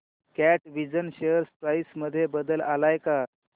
कॅटविजन share price मध्ये बदल आलाय का